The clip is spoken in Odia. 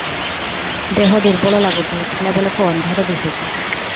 ଦେହ ଦୁର୍ବଳ ଲାଗୁଛି ଉଠିଲା ବେଳକୁ ଅନ୍ଧାର ଦିଶୁଚି